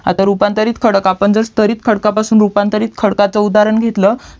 आता रूपांतरित खडक आपण जर स्तरीत खडकपासून रूपांतरित खडकात उदाहरण घेतल